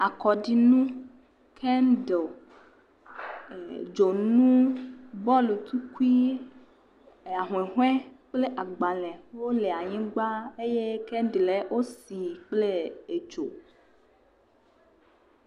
Amkɔɖinu kem de o. E dzonu, bɔlkukui e ahuhɔe kple agbale wo le anyigba eye kendel wo si nɛ kple edzo.